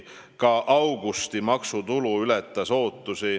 Ka augusti maksutulu ületas ootusi.